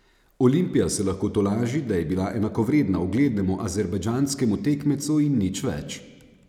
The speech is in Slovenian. Olimpija se lahko tolaži, da je bila enakovredna uglednemu azerbajdžanskemu tekmecu in nič več.